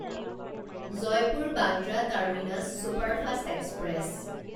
Jaipur Bandra terminus superfast express